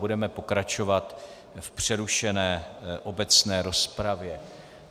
Budeme pokračovat v přerušené obecné rozpravě.